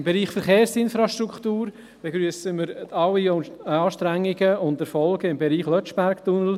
Im Bereich Verkehrsinfrastruktur begrüssen wir alle Anstrengungen und Erfolge im Beriech Lötschberg-Tunnel.